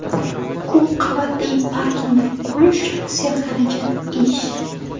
Ko‘p qavatli parkinglar qurish – serxarajat ish.